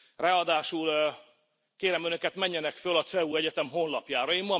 Ráadásul kérem Önöket, menjenek föl a CEU egyetem honlapjára.